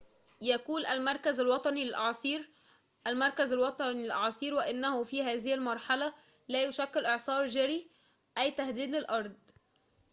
يقول المركز الوطني للأعاصير المركز الوطني للأعاصير وإنه في هذه المرحلة لا يشكل إعصار جيري أي تهديد للأرض